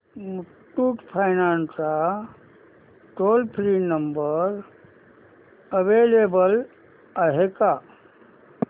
Muthoot finance चा toll free number available आहे का